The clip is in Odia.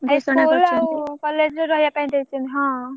ଏଇ school ଆଉ college ରେ ରହିବା ପାଇଁ ଦେଇଛନ୍ତି ହଁ।